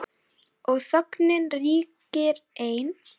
Og þögnin ríkir ein.